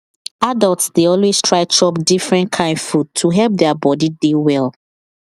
adults dey always try chop different kain food to help their body dey well